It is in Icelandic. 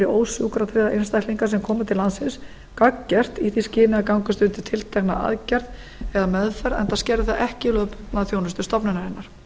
ósjúkratryggða einstaklinga sem koma til landsins gagngert í því skyni að gangast undir tiltekna aðgerð eða meðferð enda skerði það ekki þjónustu stofnunarinnar